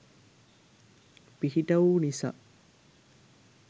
පිහිටවූ නිසා